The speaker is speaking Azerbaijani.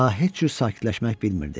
Ka heç cür sakitləşmək bilmirdi.